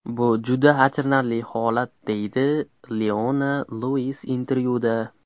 Bu juda achinarli holat”, deydi Leona Luiz intervyuda.